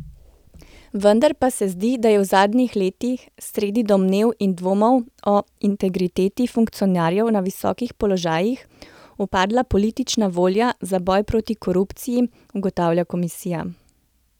Vendar pa se zdi, da je v zadnjih letih, sredi domnev in dvomov o integriteti funkcionarjev na visokih položajih, upadla politična volja za boj proti korupciji, ugotavlja komisija.